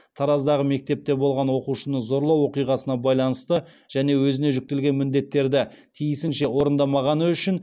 тараздағы мектепте болған оқушыны зорлау оқиғасына байланысты және өзіне жүктелген міндеттерді тиісінше орындамағаны үшін